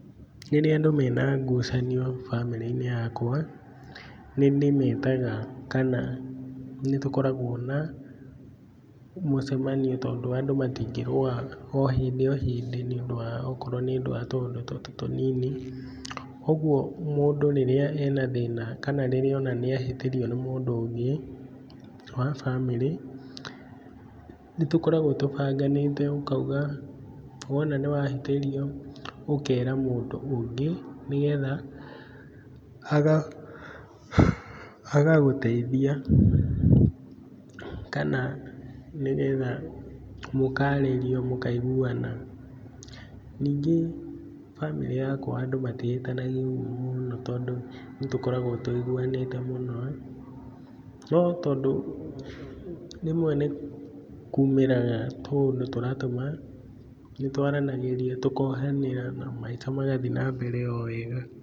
rĩrĩa andũ mena ngucanio bamĩri-inĩ yakwa nĩ ndĩmetaga kana nĩ tukoragwo na mũcemanio tondũ andũ matingĩrũa o hĩndĩ o hĩndĩ okorwo nĩ ũndũ wa tũũndũ tũtũ tũnini. Ũguo mũndũ rĩrĩa ena thĩna kana rĩrĩa ona nĩahĩtĩrio nĩ mũndũ ũngĩ wa bamĩrĩ nĩ tũkoragwo tũbanganĩte ukauga wona nĩ wahĩtĩrio ũkera mũndũ ũngĩ nĩ getha agagũteithia. Kana nĩ getha mũkaririo mũkaiguana ningĩ bamĩrĩ yakwa andu matihĩtanagia ũguo mũno tondũ nĩ tũkoragwo tũiguanĩte mũno. No tondũ rĩmwe nĩ kumĩraga tũũndũ tũratũma nĩ twaranagĩria tũkaiguana na maica magathiĩ na mbere o wega.